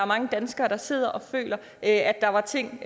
mange danskere der sidder og føler at der er ting